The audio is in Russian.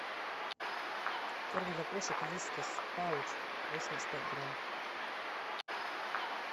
корм для кошек вискас пауч восемьдесят пять грамм